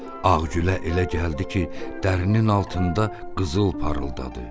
Ağgülə elə gəldi ki, dərinin altında qızıl parıldadı.